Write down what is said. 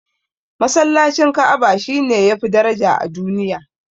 Masallacin Ka'aba shine yafi daraja a duniya